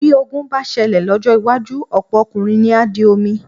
Bí ogun bá ṣẹlẹ̀ lọ́jọ́ iwájú, ọ̀pọ̀ ọkùnrin ni á domi.